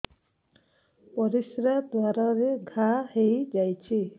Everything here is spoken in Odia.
ପରିଶ୍ରା ଦ୍ୱାର ରେ ଘା ହେଇଯାଇଛି